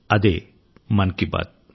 అదే మన్ కి బాత్